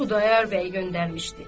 Xudayar bəy göndərmişdi.